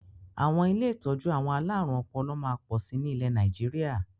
Àwọn ilé ìtọ́jú àwọn alárùn ọpọlọ máa pọ̀ sí nilẹ Nàìjíríà